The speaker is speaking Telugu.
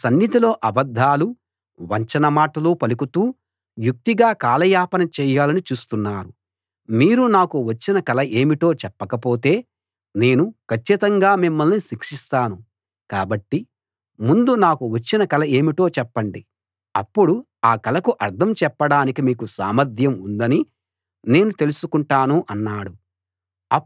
నా సన్నిధిలో అబద్ధాలు వంచన మాటలు పలుకుతూ యుక్తిగా కాలయాపన చేయాలని చూస్తున్నారు మీరు నాకు వచ్చిన కల ఏమిటో చెప్పకపోతే నేను కచ్చితంగా మిమ్మల్ని శిక్షిస్తాను కాబట్టి ముందు నాకు వచ్చిన కల ఏమిటో చెప్పండి అప్పుడు ఆ కలకు అర్థం చెప్పడానికి మీకు సామర్థ్యం ఉందని నేను తెలుసుకుంటాను అన్నాడు